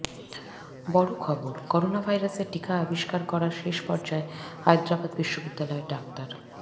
বড় খবরঃ করোনাভাইরাসের টিকা আবিস্কার করার শেষ পর্যায়ে হায়দ্রাবাদ বিশ্ববিদ্যালয়ের ডাক্তার